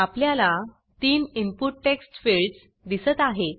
आपल्याला 3 input text fields दिसत आहेत